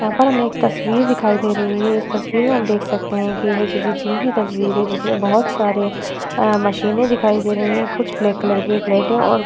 यहाँ पर हमे एक तस्वीर दिखाई दे रही है इस तस्वीर में हम देख सकते है की यह किसी जिम की तस्वीर है जिसमे बहोत सारे आ मशीने दिखाई दे रही हैं कुछ ब्लैक कलर की प्लेटे और --